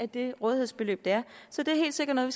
det rådighedsbeløb der er så det er helt sikkert noget